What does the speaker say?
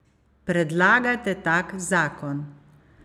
Predlagajte tak zakon.